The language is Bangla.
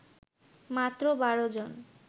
মাত্র ১২ জন